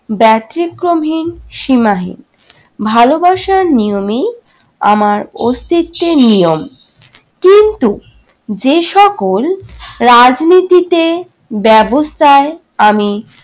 ব্যতিক্রমহীন সীমাহীন, ভালোবাসার নিয়মেই আমার অস্তিত্বের নিয়ম। কিন্তু যে সকল রাজনীতিতে ব্যবস্থায় আমি